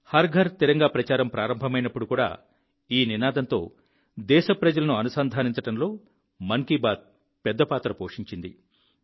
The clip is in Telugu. హర్ ఘర్ తిరంగా ప్రచారం ప్రారంభమైనప్పుడు కూడా ఈ నినాదంతో దేశప్రజలను అనుసంధానించడంలో మన్ కీ బాత్ పెద్ద పాత్ర పోషించింది